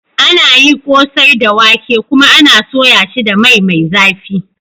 Ana yi kosai da wake, kuma ana soya shi da mai mai zafi.